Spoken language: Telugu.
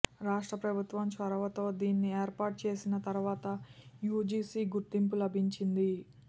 రాష్ట్ర ప్రభుత్వం చొరవతో దీన్ని ఏర్పాటు చేసిన తర్వాత యూజీసీ గుర్తింపు లభించింది